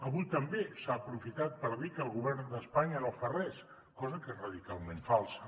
avui també s’ha aprofitat per dir que el govern d’espanya no fa res cosa que és radicalment falsa